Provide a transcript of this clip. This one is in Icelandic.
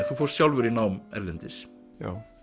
þú fórst sjálfur í nám erlendis já